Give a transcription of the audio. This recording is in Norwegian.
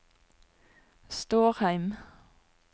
Stårheim